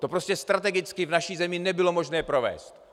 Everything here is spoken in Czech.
To prostě strategicky v naší zemi nebylo možné provést.